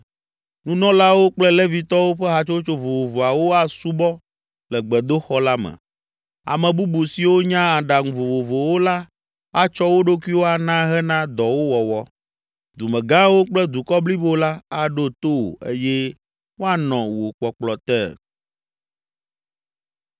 Nunɔlawo kple Levitɔwo ƒe hatsotso vovovoawo asubɔ le gbedoxɔ la me. Ame bubu siwo nya aɖaŋu vovovowo la atsɔ wo ɖokuiwo ana hena dɔwo wɔwɔ. Dumegãwo kple dukɔ blibo la aɖo to wò eye woanɔ wò kpɔkplɔ te.”